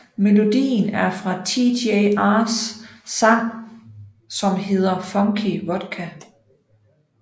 Melodien er fra TJR sangs som hedder Funky Vodka